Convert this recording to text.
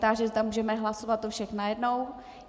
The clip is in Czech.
Táži se, zda můžeme hlasovat o všech najednou.